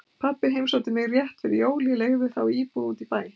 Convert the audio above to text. Pabbi heimsótti mig rétt fyrir jól, ég leigði þá íbúð út í bæ.